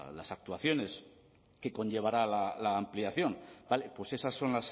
las actuaciones que conllevará la ampliación vale pues esas son